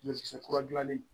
Ɲɔkisɛ kura gilannen